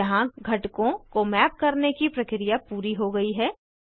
यहाँ घटकों को मैप करने की प्रक्रिया पूरी हो गयी है